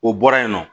O bɔra yen nɔ